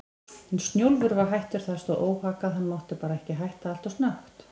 En Snjólfur var hættur, það stóð óhaggað, hann mátti bara ekki hætta alltof snöggt.